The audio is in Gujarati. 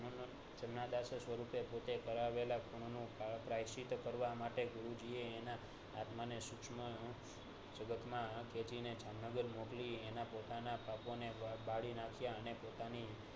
જમનાદાસ સ્વરૂપે પુતે કરાવેલ નું પ્રાયશ્ચિત કરવા માટે ગુરુજીએ એના આત્મા ને શુંસમક જગતમાં જામનગર મોકલી એના પોતાના પાપો ને બાળી નાંખ્યા અને પોતાની